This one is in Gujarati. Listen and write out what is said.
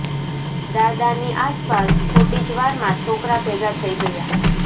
દાદાની આસપાસ થોડી જ વારમાં છોકરાં ભેગાં થઇ ગયાં